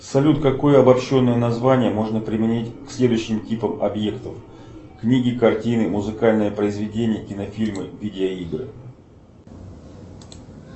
салют какое обобщенное название можно применить к следующим типам объектов книги картины музыкальные произведения кинофильмы видео игры